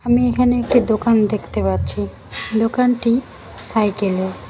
আমি এখানে একটি দোকান দেখতে পাচ্ছি দোকানটি সাইকেলের।